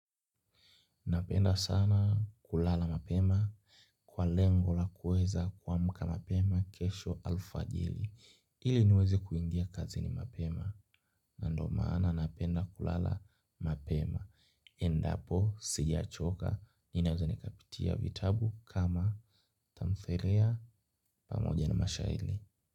Napenda sana kulala mapema kwa lengo la kueza kuamka mapema kesho alfajiri. Ili niweze kuingia kazini mapema. Na ndo maana napenda kulala mapema. Endapo sijachoka ninaweza nikapitia vitabu kama tamthilia pamoja na mashairi.